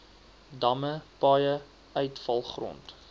damme paaie uitvalgrond